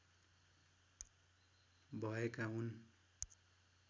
भएका हुन्